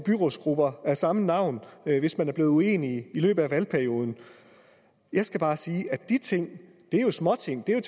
byrådsgrupper af samme navn hvis man er blevet uenige i løbet af valgperioden jeg skal bare sige at de ting jo er småting det er